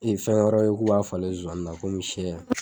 I fɛn wɛrɛ we k'o b'a falen zozani na komi shɛ.